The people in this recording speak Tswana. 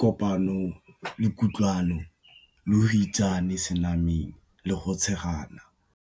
kopano le kutlwano lo go itsane senameng le go tshegana.